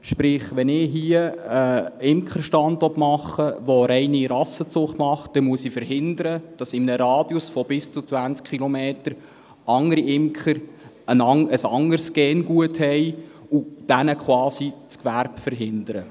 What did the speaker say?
Sprich: Wenn ich hier einen Imkerstand machen will, der reine Rassenzucht macht, muss ich verhindern, dass in einem Radius von bis zu 20 Kilometern andere Imker ein anderes Gengut verwenden und diesen quasi das Gewerbe verhindern.